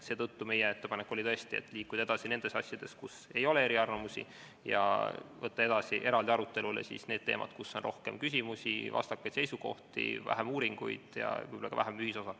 Seetõttu oli meie ettepanek liikuda edasi nende asjadega, kus ei ole eriarvamusi, ja võtta edaspidi eraldi arutelule need teemad, kus on rohkem küsimusi, vastakaid seisukohti, vähem uuringuid ja võib-olla ka vähem ühisosa.